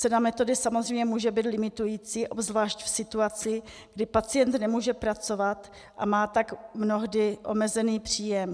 Cena metody samozřejmě může být limitující, obzvlášť v situaci, kdy pacient nemůže pracovat a má tak mnohdy omezený příjem.